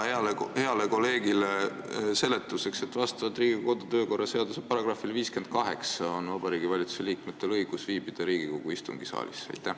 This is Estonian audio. Heale kolleegile seletuseks, et vastavalt Riigikogu kodu- ja töökorra seaduse §-le 58 on Vabariigi Valitsuse liikmetel õigus Riigikogu istungisaalis viibida.